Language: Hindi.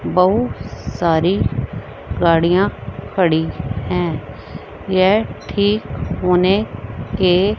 बहुत सारी गाड़ियां खड़ी है। ये ठीक होने के--